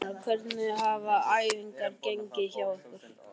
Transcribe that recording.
Gunnar: Hvernig hafa æfingar gengið hjá ykkur?